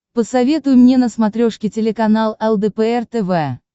посоветуй мне на смотрешке телеканал лдпр тв